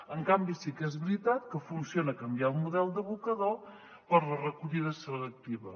en canvi sí que és veritat que funciona canviar el model d’abocador per la recollida selectiva